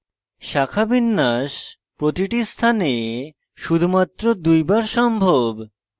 শাখাবিন্যাস প্রতিটি স্থানে শুধুমাত্র দুইবার সম্ভব